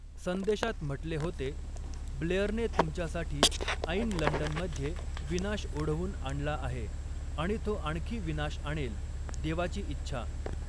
संदेशात म्हटले होते, 'ब्लेअरने तुमच्यासाठी ऐन लंडनमध्ये विनाश ओढवून आणला आहे आणि तो आणखी विनाश आणेल, देवाची इच्छा.